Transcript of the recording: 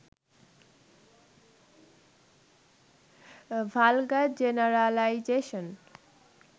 vulgar generalisation